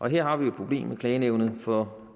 her har vi jo et problem med klagenævnet for